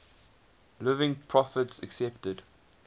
living prophets accepted